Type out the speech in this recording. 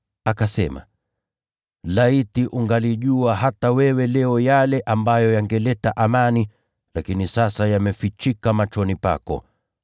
akisema, “Laiti ungalijua hata wewe leo yale ambayo yangeleta amani, lakini sasa yamefichika machoni pako.